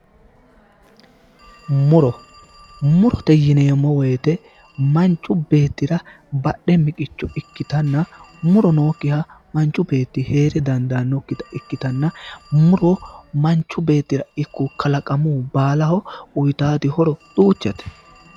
Muto, murote yineemmo woyte manchu beettira badhe miqicho ikkitanna muro nookkiha manchu beetti hee're dandaannokkita ikkitanna muro manchu beettira ikko kalaqamu baalaho uytaati horo duuchate.